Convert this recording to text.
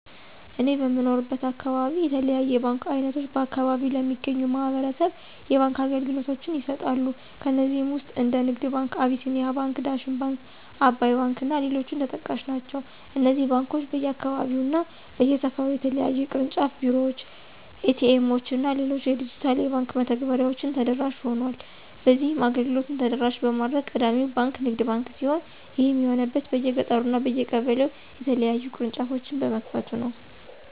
እኔ በምኖርበት አካባቢ የተለያዩ የባንክ አይነቶች በአከባቢው ለሚገኙ ማህበረሰብ የባንክ አገልግሎቶችን ይሰጣሉ። ከነዚህም ውስጥ እንደ ንግድ ባንክ፣ አቢሲኒያ ባንክ፣ ዳሽን ባንክ፣ አባይ ባንክ እና ሌሎችም ተጠቃሽ ናቸው። እነዚህ ባንኮች በየአካባቢው እና በየሰፈሩ የተለያዩ የቅርንጫፍ ቢሮዎች፣ ኤ.ቲ. ኤምዎች እና ሌሎች የዲጂታል የባንክ መተግበሬዎችን ተደራሽ ሆኗል። በዚህም አገልግሎቱን ተደራሽ በማድረግ ቀዳሚው ባንክ ንግድ ባንክ ሲሆን ይህም የሆነበት በየገጠሩ እና በየቀበሌው የተለያዩ ቅርንጫፎችን በመክፈቱ ነው።